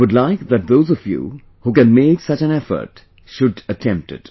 I would like that those of you who can make such an effort, should attempt it